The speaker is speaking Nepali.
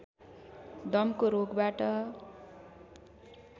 दमको रोगबाट